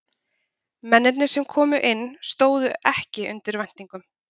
Mennirnir sem komu inn stóðu ekki undir væntingum.